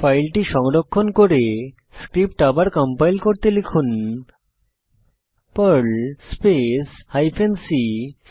ফাইলটি সংরক্ষণ করে স্ক্রিপ্ট আবার কম্পাইল করতে লিখুন পার্ল স্পেস হাইফেন c